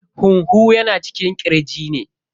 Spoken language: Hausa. Huhu yana cikin ƙirji ne.